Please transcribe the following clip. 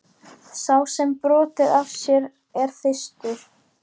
Sá sem hefur brotið af sér er þyrstur.